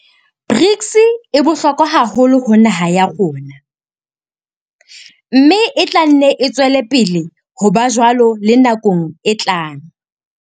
BRICS e bohlokwa haholo ho naha ya rona, mme e tla nne e tswele pele ho ba jwalo le nakong e tlang.